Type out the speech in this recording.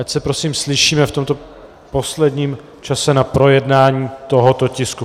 Ať se prosím slyšíme v tomto posledním čase na projednání tohoto tisku.